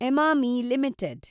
Emami limited